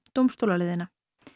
dómstólaleiðina